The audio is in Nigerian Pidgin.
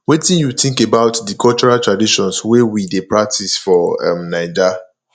wetin you think about di cultural traditions wey we dey practice for um naija